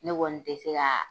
Ne kɔni te se kaa